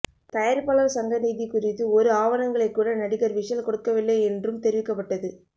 தயாரிப்பாளர் சங்க நிதி குறித்து ஒரு ஆவணங்களை கூட நடிகர் விஷால் கொடுக்கவில்லை என்றும் தெரிவிக்கப்பட்டது